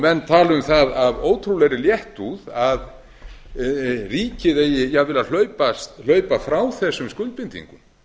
menn tala um það af ótrúlegri léttúð að ríkið eigi jafnvel að hlaupa frá þessum skuldbindingum